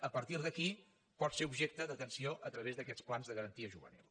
a partir d’aquí pot ser objecte d’atenció a través d’aquests plans de garantia juvenil